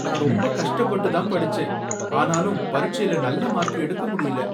நான் ரொம்ப கஷ்டப்பட்டு தான் படிச்சேன், ஆனாலும் பரிட்சைல நல்ல மார்க் எடுக்க முடியல.